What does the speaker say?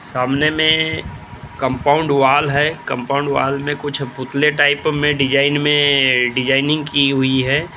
सामने compound wall मै compound wall में कुछ पुतले टाइप में डिज़ाइन में डिजाइनिंग की हुई है ।